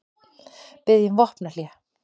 Biðja um vopnahlé